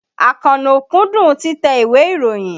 Àkànó kúndùn títẹ ìwé ìròyìn.